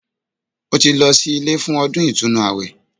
Ó ti lọ sí ilé fún ọdún ìtúnu àwẹ̀